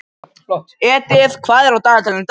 Edith, hvað er á dagatalinu í dag?